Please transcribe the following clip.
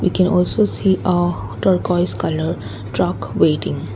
we can also see a torgouis colour truck waiting.